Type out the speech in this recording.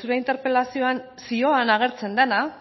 zure interpelazioan zioan agertzen dena